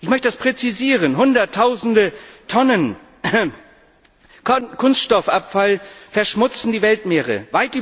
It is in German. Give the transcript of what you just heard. Ich möchte das präzisieren Hunderttausende Tonnen Kunststoffabfall verschmutzen die Weltmeere.